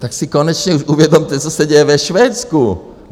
Tak si už konečně uvědomte, co se děje ve Švédsku.